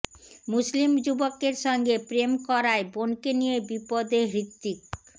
মুসলিম যুবকের সঙ্গে প্রেম করায় বোনকে নিয়ে বিপদে হৃত্বিক